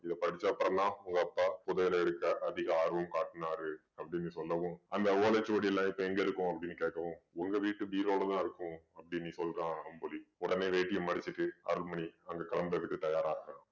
இத படிச்ச அப்புறம்தான் உங்க அப்பா புதையல எடுக்க அதிக ஆர்வம் காட்டினாரு அப்படின்னு சொல்லவும் அந்த ஓலைச்சுவடில்லாம் இப்ப எங்க இருக்கும் அப்படின்னு கேட்கவும் உங்க வீட்டு பீரோவுலதான் இருக்கும் அப்படின்னு சொல்றான் அம்புலி உடனே வேட்டியை மடிச்சுட்டு அருள்மணி அங்க கிளம்புறதுக்கு தயாராகரான்